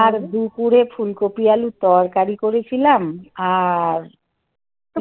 আর দুপুরে ফুলকপি আলুর তরকারি করেছিলাম আর